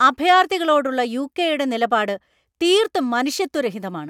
അഭയാർത്ഥികളോടുള്ള യു.കെ.യുടെ നിലപാട് തീർത്തും മനുഷ്യത്വരഹിതമാണ്.